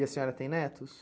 E a senhora tem netos?